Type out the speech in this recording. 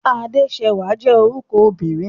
Adéṣẹwà jẹ́ orúkọ obìnrin.